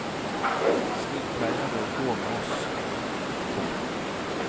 Slik pleier det å gå med oss. punktum